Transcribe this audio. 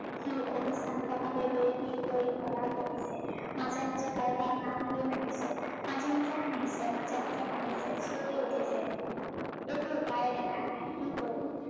সি অবিশ্ৰান্তভাবে বিৰ বিৰ কৰি প্ৰলাপ বকিছে মাজে মাজে কাৰোবাৰ নাম ধৰি মাতিছে, মাজে মাজে হাহিছে, মাজে মাজে কান্দিছে, মাজে মাজে চিঞৰি উঠিছে, একো উপাই দেখা নাই কি কৰিম